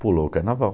Pulou o carnaval.